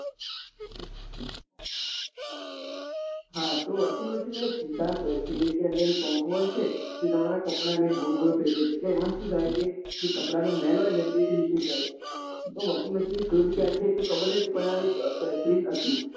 હા તો washing machine માં એક સિધાંત હોય છે કે અંદર એક પંખો હોય છે તે તમારા કપડા ને ગોળ ગોળ ફેરવે છે એટલા એમાં શું થાત કે જે કપડા નો મેલ હોય તે નીકળી જાય તો washing machine ની શોધ ક્યારે થઇ એ તો ખબર નથી પણ એક બહેતરીન